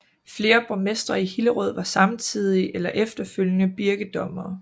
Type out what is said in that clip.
Flere borgmestre i Hillerød var samtidig eller efterfølgende birkedommere